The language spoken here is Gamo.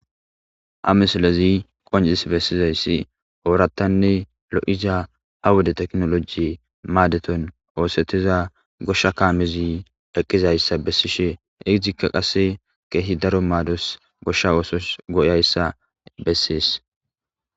ha mislezi qoncis bessizayssi oorattanne lo7iza ha woda teknoloji maadeton oosetiza goshsha kaamezi eqqizayssa bessishe izikka qasse keehi daro maados goshsha oosos goyayssa bessees.